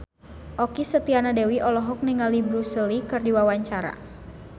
Okky Setiana Dewi olohok ningali Bruce Lee keur diwawancara